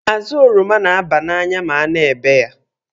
Azụ oroma n'aba n'anya ma a na-ebe ya.